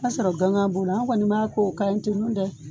Ka sɔrɔ gan b'o la an kɔni b'a k'o kaɲi ten nɔ dɛ